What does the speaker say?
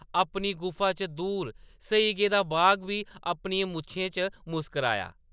अपनी गुफा च दूर सेई गेदा बाघ बी अपनियें मुच्छें च मुस्कुराया ।